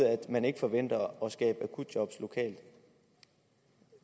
at man ikke forventer at skabe akutjob lokalt